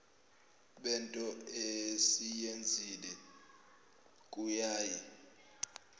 bento esiyenzile kuyaye